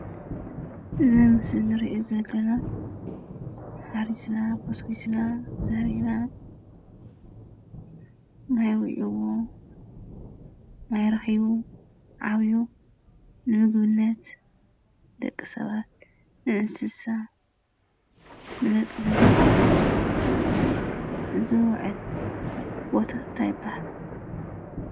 እዚ ኣብ ምስሊ ንሪኦ ዘለና ሓሪስና ኮስኩስና ዘሪእና ማይ ወቐዒዎ ማይ ረኺቡ ዓብዩ ንምግብነት፣ ንደቂ ሰባት ፣ንእንስሳ ንመፅለሊ ዝውዕል ቦታ እንታይ ይባሃል?